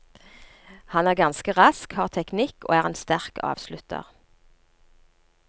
Han er ganske rask, har teknikk og er en sterk avslutter.